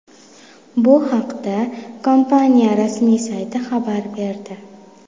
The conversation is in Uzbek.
Bu haqda kompaniya rasmiy sayti xabar berdi .